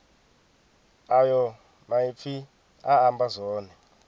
ayo maipfi a amba zwone